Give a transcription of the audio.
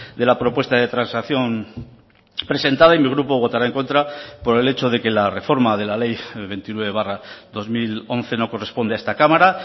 de la propuesta de transacción presentada y mi grupo votará en contra por el hecho de que la reforma de la ley veintinueve barra dos mil once no corresponde a esta cámara